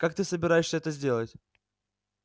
как ты собираешься это сделать